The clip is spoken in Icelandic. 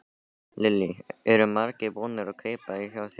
Lillý: Eru margir búnir að kaupa hjá þér í dag?